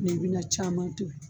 Ni bɛ na caman tobi.